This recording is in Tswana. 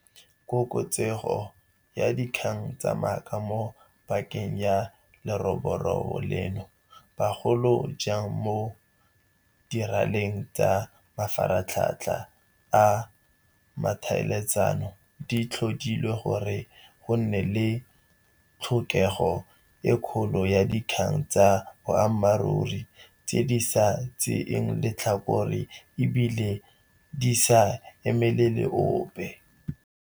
Koketsego ya dikgang tsa maaka mo pakeng ya leroborobo leno, bogolo jang mo diraleng tsa mafaratlhatlha a ditlhaeletsano, di tlhodile gore go nne le tlhokego e kgolo ya dikgang tsa boammaruri, tse di sa tseeng letlhakore e bile di sa emelele ope.